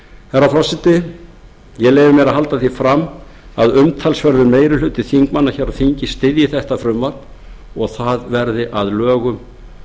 herra forseti ég leyfi mér að halda því fram að umtalsverður meiri hluti þingmanna hér á þingi styðji þetta frumvarp og það verði að lögum